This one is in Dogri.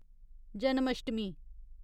जन्माष्टमी